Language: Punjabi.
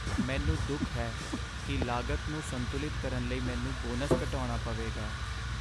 ਮੈਨੂੰ ਦੁੱਖ ਹੈ ਕਿ ਲਾਗਤ ਨੂੰ ਸੰਤੁਲਿਤ ਕਰਨ ਲਈ ਮੈਨੂੰ ਬੋਨਸ ਘਟਾਉਣਾ ਪਵੇਗਾ।